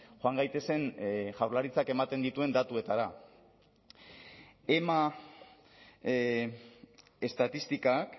joan gaitezen jaurlaritzak ematen dituen datuetara ema estatistikak